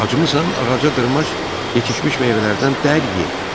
Acımısan ağaca dırmaş, yetişmiş meyvələrdən dərib ye.